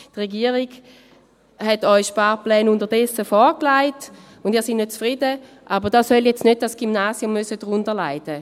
Die Regierung hat Ihnen unterdessen Sparpläne vorgelegt, und Sie sind nicht zufrieden, aber darunter soll nun nicht das Gymnasium leiden müssen.